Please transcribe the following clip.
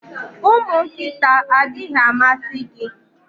Ụmụ nkịta adịghị amasị gị?